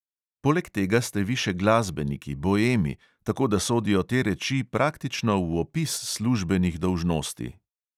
Poleg tega ste vi še glasbeniki, boemi, tako da sodijo te reči praktično v opis službenih dolžnosti…